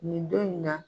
Nin don in na